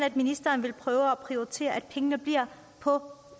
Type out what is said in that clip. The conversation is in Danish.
at ministeren vil prøve at prioritere at pengene bliver på